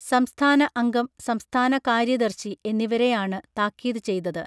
സംസ്ഥാന അംഗം സംസ്ഥാന കാര്യദർശി എന്നിവരെയാണ് താക്കീത് ചെയ്തത്